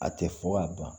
A tɛ fɔ ka ban